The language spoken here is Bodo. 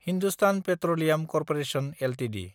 Hindustan petroleum corporation Ltd